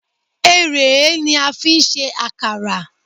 Erèé ni a fi ń ṣe àkàrà.